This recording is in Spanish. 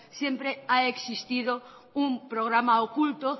siempre ha existido un programa oculto